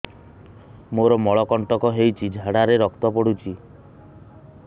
ମୋରୋ ମଳକଣ୍ଟକ ହେଇଚି ଝାଡ଼ାରେ ରକ୍ତ ପଡୁଛି